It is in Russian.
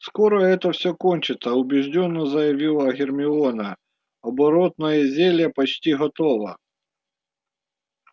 скоро это всё кончится убеждённо заявила гермиона оборотное зелье почти готово